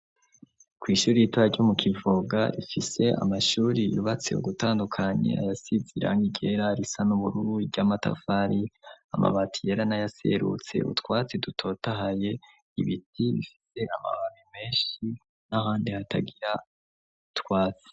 Kw' ishuri ritoya ryo mu Kivoga, rifise amashuri yubatse ugutandukanye ayas'izirangi ryera risa n'ubururu, iry'amatafari amabati yera n'ayaserutse utwatsi dutotahaye, ibiti bifise amababi menshi n'ahandi hatagira twatsi